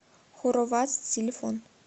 хоровац телефон